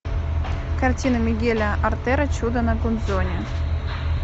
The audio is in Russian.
картина мигеля артера чудо на гудзоне